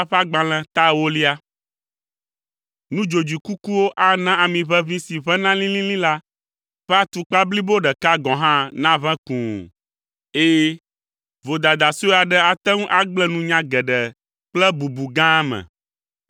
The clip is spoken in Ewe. Nudzodzoe kukuwo ana amiʋeʋĩ si ʋẽna lĩlĩlĩ la ƒe atukpa blibo ɖeka gɔ̃ hã naʋẽ kũu! Ɛ̃, vodada sue aɖe ate ŋu agblẽ nunya geɖe kple bubu gã me.